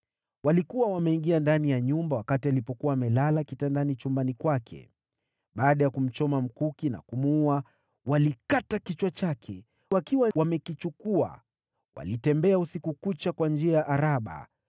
Walikuwa wameingia ndani ya nyumba wakati alipokuwa amelala kitandani chumbani kwake. Baada ya kumchoma mkuki na kumuua, walikata kichwa chake. Wakiwa wamekichukua, walitembea usiku kucha kwa njia ya Araba.